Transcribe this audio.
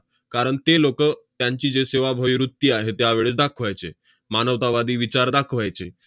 कारण ते लोकं त्यांची जे सेवाभावी वृत्ती आहे, त्यावेळी दाखवायचे, मानवतावादी विचार दाखवायचे.